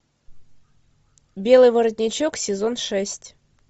белый воротничок сезон шесть